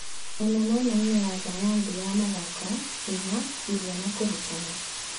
" Mũno mwena-inĩ wa Thayanthi ya mathako, hinya, irio na kũrutana."